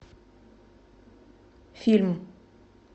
фильм